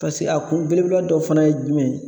Paseke a kun belebeleba dɔ fana ye jumɛn ye?